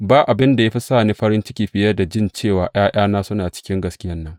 Ba abin da ya fi sa ni farin ciki fiye da in ji cewa ’ya’yana suna cikin gaskiyan nan.